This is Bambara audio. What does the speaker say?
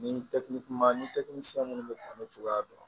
Ni ni minnu bɛ an'o cogoya dɔn